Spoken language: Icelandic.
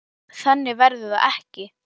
Þannig verður það ekki.